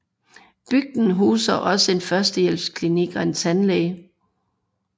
Bygden huser også en førstehjælpsklinik og en tandlæge